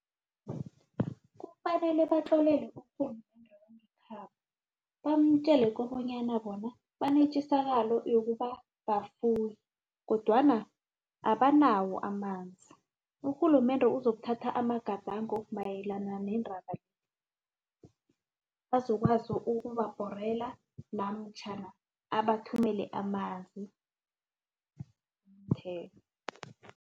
Kufanele babatlolele urhulumende wangekhabo bamtjele kobanyana bona banetjisakalo yokuba bafuye kodwana abanawo amanzi urhulumende uzokuthatha amagadango mayelana nendaba le bazokwazi ukubabhorela namtjhana awathumele amanzi